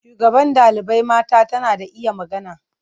Shugaban ɗalibai mata tana da iya magana.